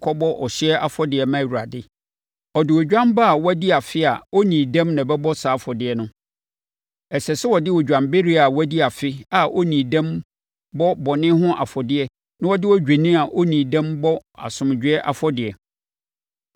kɔbɔ ɔhyeɛ afɔdeɛ ma Awurade. Ɔde odwan ba a wadi afe a ɔnnii dɛm na ɛbɛbɔ saa afɔdeɛ no. Ɛsɛ sɛ ɔde odwanbereɛ a wadi afe a ɔnnii dɛm bɔ bɔne ho afɔdeɛ na ɔde odwennini a ɔnnii dɛm bɔ asomdwoeɛ afɔdeɛ.